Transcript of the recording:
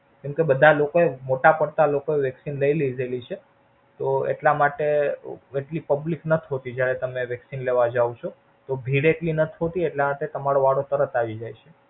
કેમ કે બધા લોકો એ મોટા પડતા લોકો એ Vaccine લય લીધેલી છે. તો એટલા માટે, કેટલી Public નથ હોતી જયારે તમે Vaccine લેવા જાવ છો. તો ભીડ એટલી નથ હોતી એટલે આજે તમારો વારો તરત આવી જાય છે.